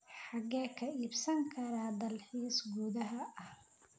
xagee ka iibsan karaa dalxiis gudaha ah